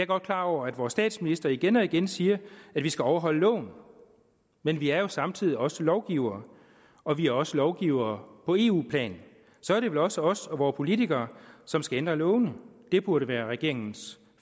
godt klar over at vores statsminister igen og igen siger at vi skal overholde loven men vi er jo samtidig også lovgivere og vi er også lovgivere på eu plan så er det vel også os og vore politikere som skal ændre lovene det burde være regeringens